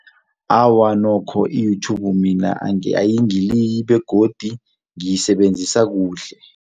Awa nokho i-YouTube mina ayingiliyi begodu ngiyisebenzisa kuhle.